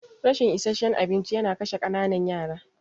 Rashin isasshen abinci yana kashe ƙananan yara.